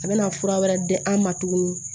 A bɛna fura wɛrɛ di an ma tuguni